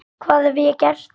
hvað hef ég gert?